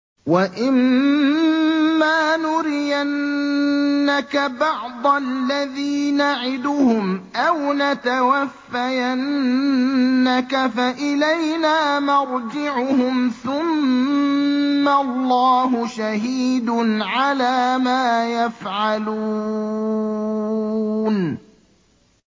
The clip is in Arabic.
وَإِمَّا نُرِيَنَّكَ بَعْضَ الَّذِي نَعِدُهُمْ أَوْ نَتَوَفَّيَنَّكَ فَإِلَيْنَا مَرْجِعُهُمْ ثُمَّ اللَّهُ شَهِيدٌ عَلَىٰ مَا يَفْعَلُونَ